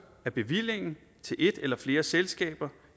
af bevillingen til et eller flere selskaber